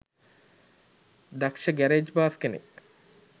දක්ෂ ගැරේජ් බාස් කෙනෙක්